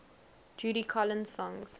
judy collins songs